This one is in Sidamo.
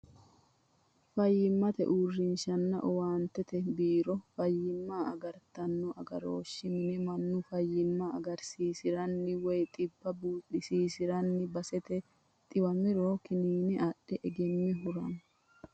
Fayimmate uurinshanna owaantete biironna fayimma agartano agarooshi mine manu fayimma agarsiisirani woyi xibba buuxisisirano baseeti xiwamiro kiniine adhe egeme hurano.